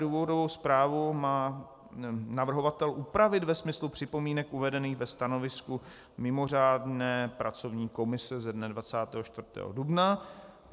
Důvodovou zprávu má navrhovatel upravit ve smyslu připomínek uvedených ve stanovisku mimořádné pracovní komise ze dne 24. dubna.